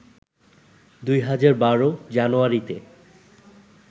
২০১২ জানুয়ারিতে